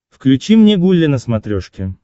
включи мне гулли на смотрешке